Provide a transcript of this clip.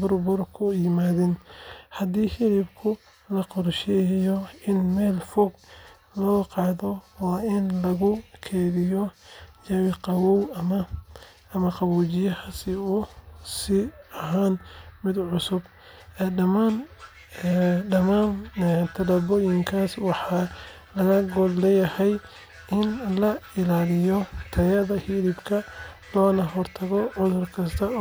burbur ku yimaada. Haddii hilibka la qorsheynayo in meel fog loo qaado, waa in lagu keydiyaa jawi qabow ama qaboojiye si uu u sii ahaado mid cusub. Dhammaan tallaabooyinkaas waxaa laga gol leeyahay in la ilaaliyo tayada hilibka loogana hortago cudur kasta.